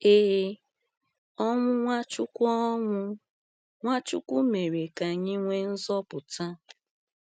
Ee, ọnwụ Nwachukwu ọnwụ Nwachukwu mèrè ka anyị nwee nzọpụta.